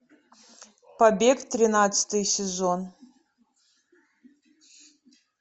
побег тринадцатый сезон